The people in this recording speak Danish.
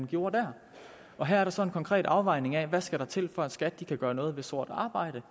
gjorde der her er der så en konkret afvejning af hvad der skal til for at skat kan gøre noget ved sort arbejde